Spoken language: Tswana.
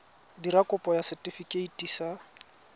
dira kopo ya setefikeiti sa